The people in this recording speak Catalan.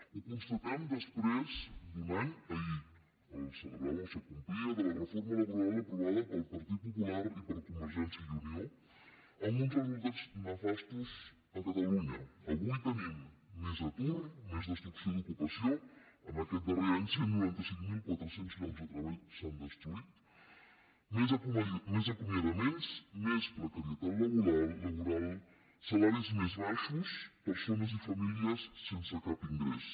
ho constatem després d’un any ahir es complia de la reforma laboral aprovada pel partit popular i per convergència i unió amb uns resultats nefastos a catalunya avui tenim més atur més destrucció d’ocupació en aquest darrer any cent i noranta cinc mil quatre cents llocs de treball s’han destruït més acomiadaments més precarietat laboral salaris més baixos persones i famílies sense cap ingrés